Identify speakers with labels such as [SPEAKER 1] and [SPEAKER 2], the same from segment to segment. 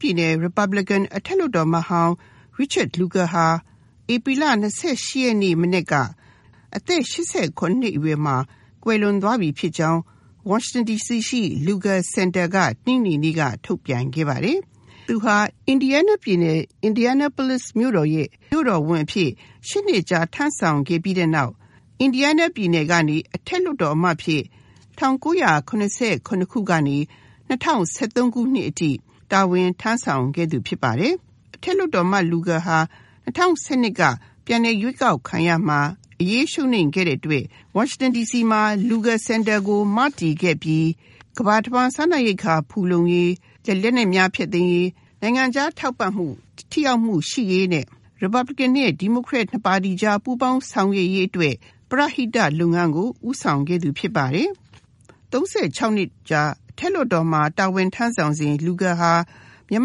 [SPEAKER 1] ပြည်နယ် Republican အထက်လွှတ်တော်အမတ်ဟောင်း Richard Lugar ဟာ ဧပြီလ ၂၈ ရက်နေ့ မနက်က အသက် ၈၇ နှစ်အရွယ်မှာ ကွယ်လွန်သွားပြီဖြစ်ကြောင်း ဝါရှင်တန် ဒီစီရှိ Lugar စင်တာက တနင်္ဂနွေနေ့က ထုတ်ပြန်ပါတယ်။သူဟာ Indiana ပြည်နယ် Indianapolis မြို့တော်ရဲ့ မြို့တော်ဝန်အဖြစ် ၈ နှစ်ကြာထမ်းဆောင် ခဲ့ပြီးတဲ့နောက် Indiana ပြည်နယ် ကနေ အထက်လွှတ်တော်အမတ်အဖြစ် ၁၉၇၇ ခုကနေ ၂၀၁၃ ခုနှစ်အထိ တာဝန်ထမ်းဆောင်ခဲ့သူဖြစ်ပါတယ်။ Republican အထက်လွှတ်တော်အမတ် ဟောင်း Lugar ဟာ ၂၀၁၂ က ပြန်လည်ရွေးကောက်ခံရာမှာ အရေးရှုံးနိမ့်ခဲ့တဲ့အတွက် ဝါရှင်တန် ဒီစီရှိ Lugar စင်တာကို မတည်ခဲ့ပြီး ကမ္ဘာတဝှမ်း စားနပ်ရိက္ခာ ဖူလုံရေး ၊ လက်နက်များ ဖျက်သိမ်းရေး ၊ နိုင်ငံခြားထောက်ပံ့မှု ထိရောက်မှု ရှိရေးနဲ့ Republican နဲ့ ဒီမိုကရက် နှစ်ပါတီအကြား ပူးပေါင်းဆောင်ရွက်ရေးအတွက် ပရဟိတ လုပ်ငန်းကို ဦးဆောင်ခဲ့သူဖြစ်ပါတယ်။ ၃၆ နှစ်ကြာ အထက်လွှတ်တော်မှာ တာဝန်ထမ်းဆောင်စဉ် Lugar ဟာ မြန်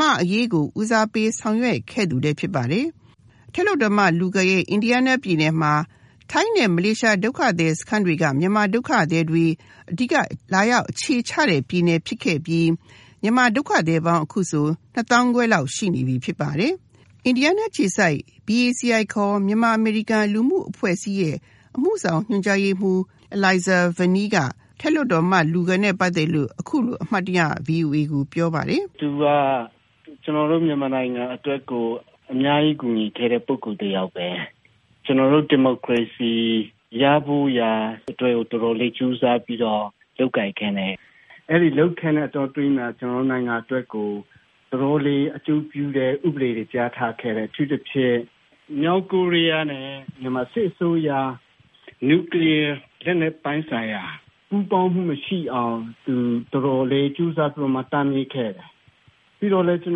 [SPEAKER 1] မာ့အရေးကို ဦးစားပေး ဆောင်ရွက်ခဲ့သူလည်း ဖြစ်ပါတယ်။ Republican အထက်လွှတ်တော်အမတ် Lugar ရဲ့ Indiana ပြည်နယ်မှာ ထိုင်းနဲ့ မလေးရှား ဒုက္ခသည်စခန်းတွေက မြန်မာဒုက္ခသည်တွေ အဓိက လာရောက်အခြေချ တဲ့ပြည်နယ်ဖြစ်ခဲ့ပြီး မြန်မာဒုက္ခသည်ပေါင်း အခုဆို နှစ်သောင်းခွဲလောက် ရှိနေပြီ ဖြစ်ပါတယ်။ Indiana ပြည်နယ်အခြေစိုက် BACI ခေါ် မြန်မာအမေရိကန် လူမှုအဖွဲ့အစည်းရဲ့ အမှုဆောင်ညွှန်ကြားရေးမှူး အီလိုင်ဇာဗာနီးက အထက်လွှတ်တော်အမတ် Lugar နဲ့ ပတ်သက်လို့ အခုလို အမှတ်တရ VOA ကိုပြောပါတယ်
[SPEAKER 2] ။ “သူက ကျနော်တို့ မြန်မာနိုင်ငံအတွက်ကို အများကြီး ကူညီခဲ့တဲ့လူတယောက်ပဲ၊ ကျနော်တို့ ဒီမိုကရေစီ ရဖို့တော်တော်လေးကြိုးစားပြီးတော့ လုပ်ခဲ့တယ်။ အဲဒီ လုပ်ခဲ့တဲ့ အတောအတွင်းမှာ ကျနော်တို့ နိုင်ငံအတွက်ကို တော်တော်လေး အကျိုးပြုတဲ့ ဥပဒေတွေ ပြဌာန်းခဲ့တယ် ။ အထူးသဖြင့် မြောက်ကိုရီးယားနဲ့ မြန်မာစစ်အစိုးရ နျူကလီးယားလက်နက်ပိုင်းဆိုင်ရာ ပူးပေါင်းမှုမရှိအောင် သူ တော်တော်လေး ကြိုးစားပြီးတော့ တားမြစ်ခဲ့တယ်။ ပြီးတော့လည်း ကျ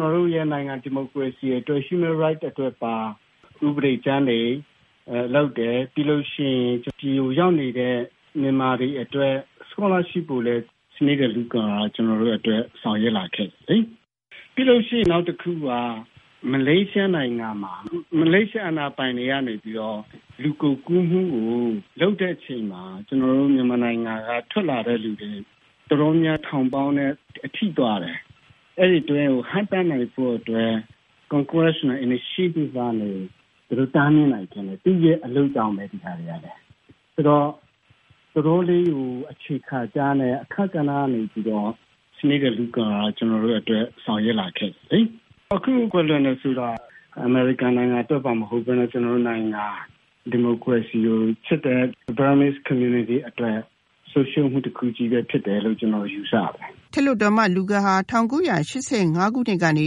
[SPEAKER 2] နော်တို့နိုင်ငံ ဒီမိုကရေစီ နောက်ပြီး Human Rights အတွက်ပါ ဥပဒေကြမ်းတွေလုပ်တယ်၊ ပြီးရင် ဒီကို ရောက်နေတဲ့ မြန်မာတွေအတွက် scholarship ကိုလည်း ဆောင်ရွက်ပေးခဲ့တယ်။ ပြီးတော့လည်း နောက်တခုက မလေးရှားနိုင်ငံမှာ မလေးရှားအာဏာပိုင်ကနေပြီးတော့ လူကုန်ကူးမှုကို လုပ်တဲ့အချိန်မှာ ကျနော်တို့ မြန်မာနိုင်ငံက ထွက်လာတဲ့ လူတွေ တော်တော်များများ ထောင်သောင်းနဲ့အထိပါတယ်။ အဲဒါတွေကို တားမြစ်ဖို့အတွက် congress နဲ့ initiative လုပ်ပြီး ဒါတွေကို တားမြစ်နိုင်ခဲ့တယ်။ ဒါတွေက သူ့အလုပ်ကြောင့်ပဲ ဒါတွေကလည်း ။ ဆိုတော့ တော်တော်လေးကို အခြေခံကျတဲ့ အခန်းကဏ္ဍကနေပြီးတော့ Senator Lugar ဟာ ကျနော်တို့အတွက်ဆောင်ရွက်လာခဲ့တယ်။ အခုကွယ်လွန်တယ်ဆိုတာ အမေရိကန်နိုင်ငံ အတွက်ပါမဟုတ်ပဲနဲ့ ကျနော်တို့နိုင်ငံ ဒီမိုကရေစီကို ချစ်တဲ့ Burmese community အတွက်လည်း ဆုံးရှုံးမှု တခုဖြစ်တယ်လို့ ကျနော်ယူဆပါတယ်
[SPEAKER 1] ။ အထက်လွှတ်တော်အမတ် Lugar ဟာ ၁၉၈၅ ကနေ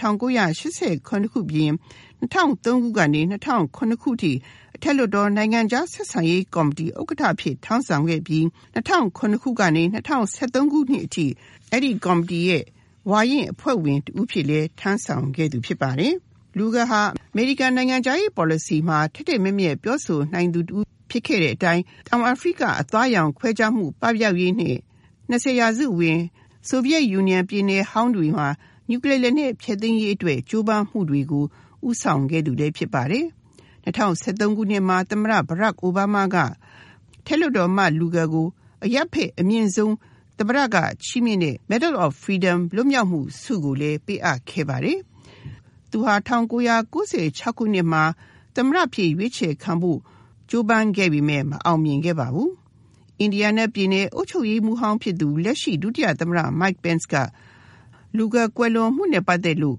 [SPEAKER 1] ၁၉၈၇ ခုနှစ်အပြင်၊ ၂၀၀၃ ကနေ ၂၀၀၇ ခုနှစ်အထိ အထက်လွှတ်တော် နိုင်ငံခြားဆက်ဆံရေးကော်မတီ ဥက္ကဋ္ဌ အဖြစ် ထမ်းဆောင်ခဲ့ပြီး ၂၀၀၇ ကနေ ၂၀၁၃ ခုနှစ်အထိ အဲဒီ ကော်မတီရဲ့ ဝါရင့်အဖွဲ့ဝင် တဦးအဖြစ်လည်း ထမ်းဆောင်ခဲ့သူဖြစ်ပါတယ်။ Lugar ဟာ အမေရိကန် နိုင်ငံခြားရေး ပေါ်လစီမှာ ထက်ထက်မြတ်မြတ်ပြောဆိုနိုင်သူ တဦးဖြစ်ခဲ့တဲ့အတိုင်း တောင်အာဖရိက အသားရောင်ခွဲခြားမှု ပပြောက်ရေးနဲ့ ၂၀ ရာစုဝင် ဆိုဗီယက်ပြည်နယ်ဟောင်းတွေမှာ နျူကလီးယားလက်နက် ဖျက်သိမ်းရေးအတွက် ကြိုးပမ်း မှုတွေကို ဦးဆောင်ခဲ့သူလည်း ဖြစ်ပါတယ်။ ၂၀၁၃ ခုနှစ်မှာ သမ္မတဟောင်း အိုဘားမားက အထက်လွှတ်တော်အမတ် Lugar ကို အရပ်ဘက်အမြင့်ဆုံး သမ္မတချီးမြှင့်တဲ့ Medal of freedom လွတ်မြောက်မှု ဆုကိုလည်း ပေးအပ်ခဲ့ပါတယ်။ သူဟာ ၁၉၉၆ ခုနှစ်မှာ သမ္မတအဖြစ် ရွေးချယ်ခံဖို့ ကြိုးပမ်းခဲ့ပေမယ့် မအောင်မြင်ခဲ့ပါဘူး။ Indiana ပြည်နယ် အုပ်ချုပ်ရေးမှူးဟောင်းဖြစ်သူ လက်ရှိ ဒု ဥက္ကဋ္ဌ သမ္မတ Mike Pence က Lugar ကွယ်လွန်မှုနဲ့ ပတ်သက်လို့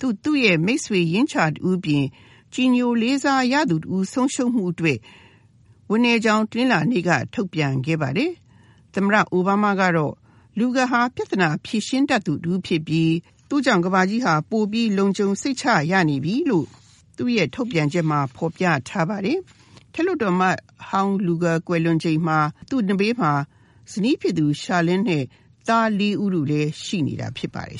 [SPEAKER 1] သူ့မိတ်ဆွေရင်းချာ တဦးအပြင် ကြည်ညိုလေးစားရသူ တဦး ဆုံးရှုံးမှုအတွက် ဝမ်းနည်းကြောင်း တနလာၤနေ့က ထုတ်ပြန်ခဲ့ပါတယ်။ သမ္မတဟောင်း အိုဘားမားကတော့ Lugarဟာ ပြဿနာ ဖြေရှင်းတတ်သူတဦး ဖြစ်ပြီး သူ့ကြောင့်ကမ္ဘာကြီးဟာ ပိုပြီး လုံခြုံစိတ်ချရနေပြီလို့ သူ့ထုတ်ပြန်ချက်မှာ ဖော်ပြထားပါတယ်။ အထက်လွှတ်တော်အမတ်ဟောင်း Lugar ကွယ်လွန်ချိန်မှာ သူ့နဘေးမှာ ဇနီးဖြစ်သူ Charlene နဲ့သား ၄ ဦးလည်းရှိနေတာ ဖြစ်ပါတယ်